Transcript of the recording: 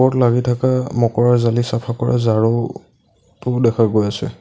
ওপৰত লাগি থকা মকৰা জালি চাফা কৰা ঝাড়ু টো দেখা গৈ আছে।